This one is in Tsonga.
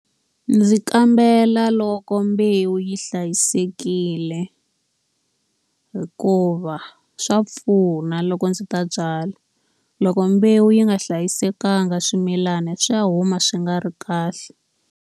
Ndzi kambela loko mbewu yi hlayisekile, hikuva swa pfuna loko ndzi ta byala. Loko mbewu yi nga hlayisekanga swimilana swi ya huma swi nga ri kahle.